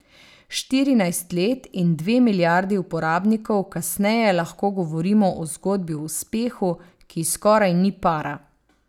Štirinajst let in dve milijardi uporabnikov kasneje lahko govorimo o zgodbi o uspehu, ki ji skoraj ni para.